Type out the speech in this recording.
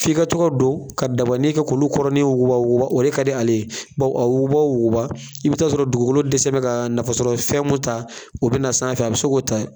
F'i ka tɔ ka don ka dabani kɛ k'olu kɔrɔɔnin wuguba wuguba o de ka di ale ye, baw a wuguba o wuguba i bɛ taa sɔrɔ dugukolo dɛsɛlebɛ ka nafa sɔrɔ fɛn mun ta o bɛ na sanfɛ a bɛ se k'o ta.